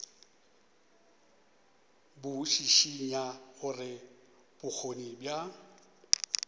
bo šišinya gore bokgoni bja